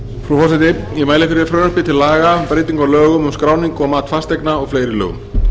frú forseti ég mæli fyrir frumvarpi til laga um breytingu á lögum um skráningu og mat fasteigna og fleiri lögum